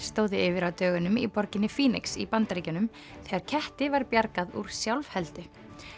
stóðu yfir á dögunum í borginni í Bandaríkjunum þegar ketti var bjargað úr sjálfheldu